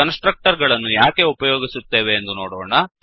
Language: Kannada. ಕನ್ಸ್ ಟ್ರಕ್ಟರ್ ಗಳನ್ನು ಯಾಕೆ ಉಪಯೋಗಿಸುತ್ತೇವೆ ಎಂದು ನೋಡೋಣ